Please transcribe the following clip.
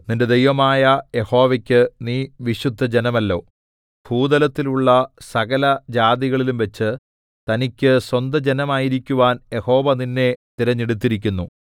നിന്റെ ദൈവമായ യഹോവയ്ക്ക് നീ വിശുദ്ധജനമല്ലോ ഭൂതലത്തിലുള്ള സകലജാതികളിലുംവച്ച് തനിക്ക് സ്വന്ത ജനമായിരിക്കുവാൻ യഹോവ നിന്നെ തിരഞ്ഞെടുത്തിരിക്കുന്നു